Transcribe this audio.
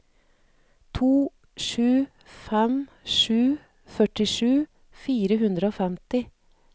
to sju fem sju førtisju fire hundre og femti